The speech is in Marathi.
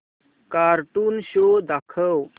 कार्टून शो दाखव